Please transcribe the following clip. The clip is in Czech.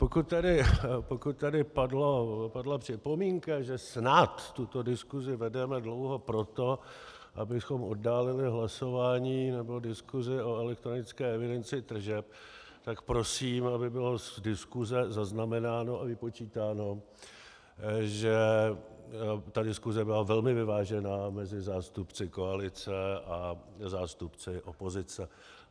Pokud tady padla připomínka, že snad tuto diskusi vedeme dlouho proto, abychom oddálili hlasování nebo diskusi o elektronické evidenci tržeb, tak prosím, aby bylo z diskuse zaznamenáno a vypočítáno, že ta diskuse byla velmi vyvážená mezi zástupci koalice a zástupci opozice.